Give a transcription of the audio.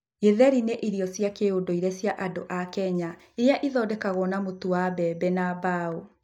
Githeri nĩ irio cia kĩndũire cia andũ a Kikuyu iria ithondekagwo na mũtu wa mbembe na mbaũ.